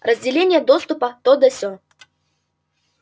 разделение доступа то да сё